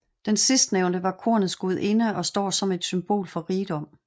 Den sidstnævnte var kornets gudinde og står som et symbol for rigdom